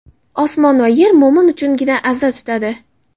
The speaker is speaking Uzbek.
Osmon va yer mo‘min uchungina aza tutadi.